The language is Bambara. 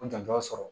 N janto sɔrɔ